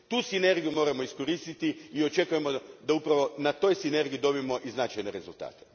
Tu sinergiju moramo iskoristiti i očekujemo da upravo na toj sinergiji dobijemo i značajne rezultate.